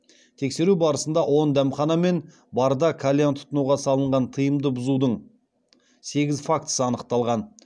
тексеру барысында он дәмхана мен барда кальян тұтынуға салынған тыйымды бұзудың сегіз фактісі анықталған